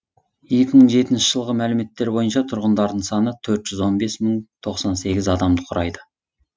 екі мың жетінші жылғы мәліметтер бойынша тұрғындарының саны төрт жүз он бес мың тоқсан сегіз адамды құрайды